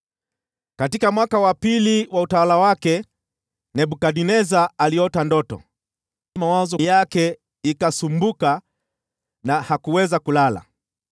Katika mwaka wa pili wa utawala wake, Nebukadneza aliota ndoto. Mawazo yake yakasumbuka na hakuweza kulala.